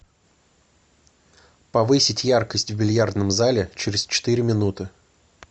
повысить яркость в бильярдном зале через четыре минуты